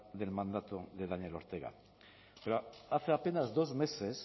del mandato de daniel ortega pero hace apenas dos meses